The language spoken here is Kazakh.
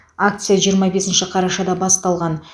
акция жиырма бесінші қарашада басталған